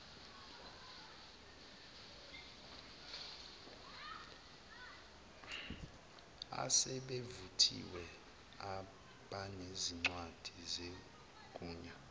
asebevuthiwe abanezincwadi zegunya